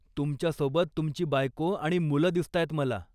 तुमच्यासोबत तुमची बायको आणि मुलं दिसतायत मला.